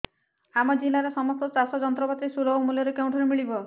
ଆମ ଜିଲ୍ଲାରେ ସମସ୍ତ ଚାଷ ଯନ୍ତ୍ରପାତି ସୁଲଭ ମୁଲ୍ଯରେ କେଉଁଠାରୁ ମିଳିବ